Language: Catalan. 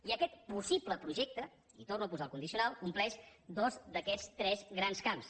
i aquest possible projecte i torno a posar el condicional compleix dos d’aquests tres grans camps